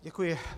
Děkuji.